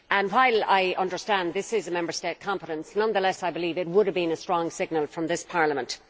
While I understand that this is a Member State competence, nonetheless I believe it would have sent a strong signal from this Parliament.